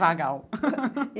Vagal.